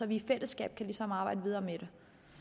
vi i fællesskab ligesom kan arbejde videre med